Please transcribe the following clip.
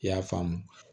I y'a faamu